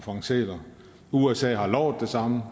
fange sæler og usa har lovet det samme